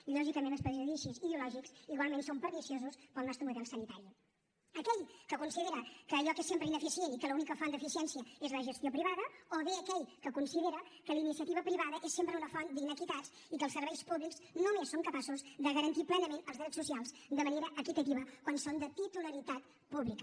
i lògicament els prejudicis ideològics igualment són perniciosos per al nostre model sanitari aquell que considera que allò que és sempre ineficient i que l’única font d’eficiència és la gestió privada o bé aquell que considera que la iniciativa privada és sempre una font d’inequitats i que els serveis públics només són capaços de garantir plenament els drets socials de manera equitativa quan són de titularitat pública